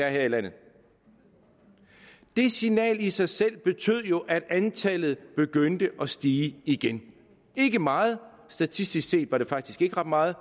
her i landet det signal sig selv betød jo at antallet begyndte at stige igen ikke meget statistisk set var det faktisk ikke ret meget